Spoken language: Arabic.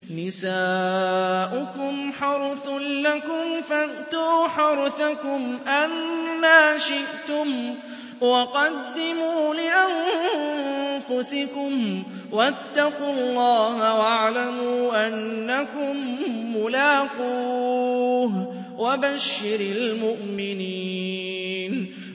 نِسَاؤُكُمْ حَرْثٌ لَّكُمْ فَأْتُوا حَرْثَكُمْ أَنَّىٰ شِئْتُمْ ۖ وَقَدِّمُوا لِأَنفُسِكُمْ ۚ وَاتَّقُوا اللَّهَ وَاعْلَمُوا أَنَّكُم مُّلَاقُوهُ ۗ وَبَشِّرِ الْمُؤْمِنِينَ